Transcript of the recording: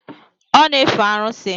Ọ na-efe arụsị.